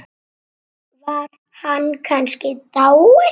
Var hann kannski dáinn?